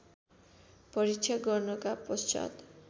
परीक्षा गर्नका पश्चात्